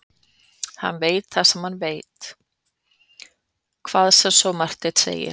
Hann veit það sem hann veit, hvað svo sem Marteinn segir.